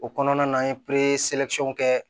O kɔnɔna na an ye kɛ